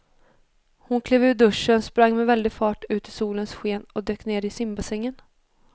Hon klev ur duschen, sprang med väldig fart ut i solens sken och dök ner i simbassängen.